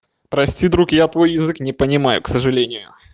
прости друг я твой язык не понимаю к сожалению